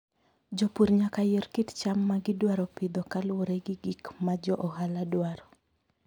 Jopur nyaka yier kit cham ma gidwaro pidho kaluwore gi gik ma jo ohala dwaro.